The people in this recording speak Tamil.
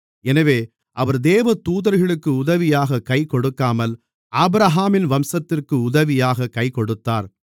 எனவே அவர் தேவதூதர்களுக்கு உதவியாகக் கைகொடுக்காமல் ஆபிரகாமின் வம்சத்திற்கு உதவியாகக் கைகொடுத்தார்